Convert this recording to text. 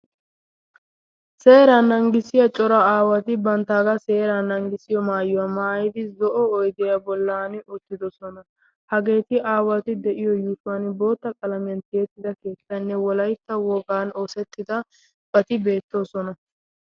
seera nanggissiya cora aawati banttaagaa seera nanggissiyo maayuwaa maayidi zo'o oydiyaa bollan uttidosona. hageeti aawati de'iyo yishuwan bootta qalamiyan tiyettida keettaynne wolaitta wogan oosettidabati beettoosona.